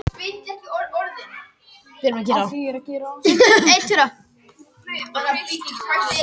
Gummi, hvað er mikið eftir af niðurteljaranum?